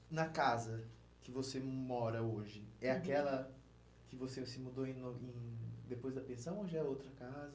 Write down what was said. E na casa que você mora hoje, é aquela que você se mudou depois da pensão ou já é outra casa?